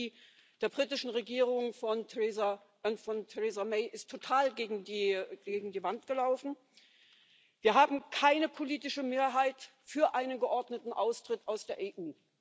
Die Strategie der britischen Regierung von Theresa May ist total gegen die Wand gelaufen. Wir haben keine politische Mehrheit für einen geordneten Austritt aus der EU.